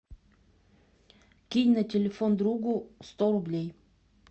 кинь на телефон другу сто рублей